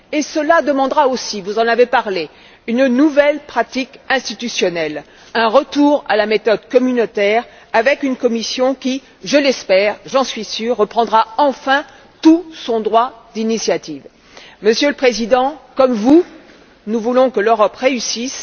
Cela demandera aussi, vous en avez parlé, une nouvelle pratique institutionnelle, un retour à la méthode communautaire, avec une Commission qui, je l'espère et j'en suis sûre, reprendra enfin tout son droit d'initiative. Monsieur le Président, comme vous, nous voulons que l'Europe réussisse.